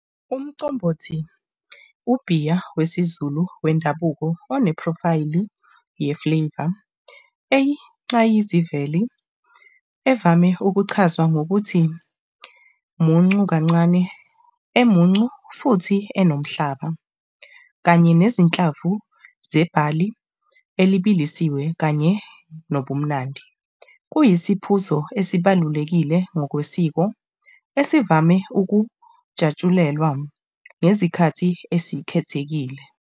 Umcombothi, ubhiya wesiZulu wendabuko onephrofayili ye-flavour eyinxayizivele evame ukuchazwa ngokuthi muncu kancane, emuncu futhi enomhlaba kanye nezinhlamvu zebhali elibilisiwe kanye nobumnandi. kuyisiphuzo esibalulekile ngokwesiko esivame ukujatshulelwa ngezikhathi esikhethekile.